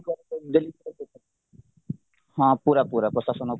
ହଁ ପୁରା ପୁରା ପ୍ରଶାସନ ଉପରେ